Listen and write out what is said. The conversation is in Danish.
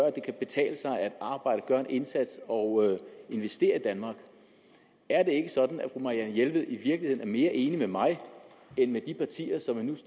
at det kan betale sig at arbejde gøre en indsats og investere i danmark er det ikke sådan at fru marianne jelved i virkeligheden er mere enig med mig end med de partier som man